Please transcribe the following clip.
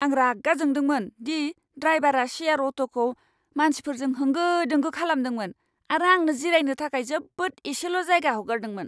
आं रागा जोंदोंमोन दि ड्राइबारा शेयार अट'खौ मानसिफोरजों होंगो दोंगो खालामदोंमोन आरो आंनो जिरायनो थाखाय जोबोद एसेल' जायगा हगारदोंमोन।